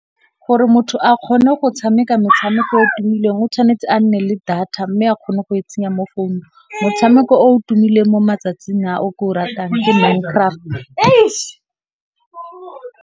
Gore motho a kgone go tshameka metshameko o tumileng o tshwanetse a nne le data mme a kgone go e tsenya mo founung. Motshameko o tumileng mo matsatsing a o ke o ratang ke Minecraft .